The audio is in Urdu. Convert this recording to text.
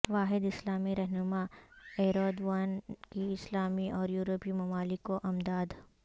واحد اسلامی رہنما ایردوان کی اسلامی اور یورپی ممالک کو امداد